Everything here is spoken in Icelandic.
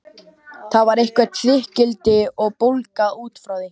Þar var eitthvert þykkildi og bólga út frá því.